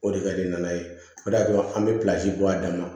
O de ka di n'a ye o de y'a to an bɛ pilasi bɔ a dama